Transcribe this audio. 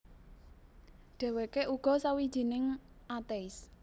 Dhèwèké uga sawijining atéis